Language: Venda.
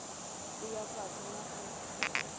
u ya fhasi na u